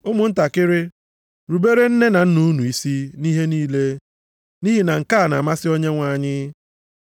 Ụmụntakịrị, ruberenụ nne na nna unu isi nʼihe niile, nʼihi na nke a na-amasị Onyenwe anyị.